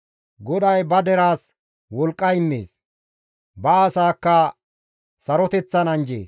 GODAY ba deraas wolqqa immees. Ba asaakka saroteththan anjjees.